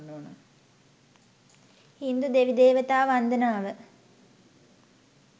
හින්දු දෙවි දේවතා වන්දනාව